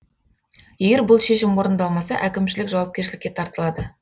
егер бұл шешім орындалмаса әкімшілік жауапкершілікке тартылады